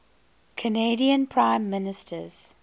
canadian prime ministers